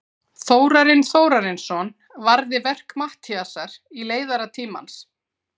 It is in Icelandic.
Þórarinn Þórarinsson varði verk Matthíasar í leiðara Tímans.